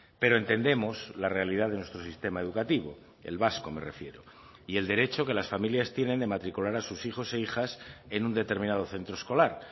pero entendemos la realidad de nuestro sistema educativo el vasco me refiero y el derecho que las familias tienen de matricular a sus hijos e hijas en un determinado centro escolar